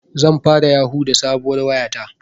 Zan fara yahu da sabuwar waya ta